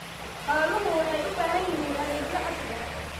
Xooluhu waxay u baahan yihiin adeegyo casri ah.